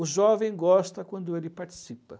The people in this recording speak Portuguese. O jovem gosta quando ele participa.